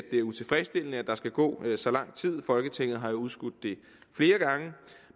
det er utilfredsstillende at der skal gå så lang tid folketinget har jo udskudt det flere gange